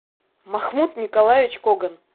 махмуд николаевич коган